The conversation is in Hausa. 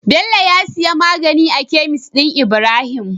Bello ya diya magani a kemis din ibrahim